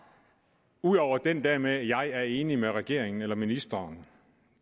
ud over den der med jeg er enig med regeringen eller ministeren